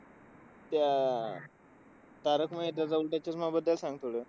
त्या, तारक मेहताचा उलटा चष्माबद्दल सांग थोडं.